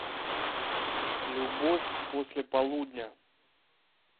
любовь после полудня